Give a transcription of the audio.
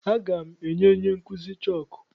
Aga m enye onye nkụzi chọọkụ.